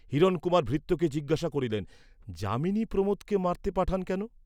হিরণকুমার ভৃত্যকে জিজ্ঞাসা করিলেন, যামিনী প্রমোদকে মারতে পাঠান কেন?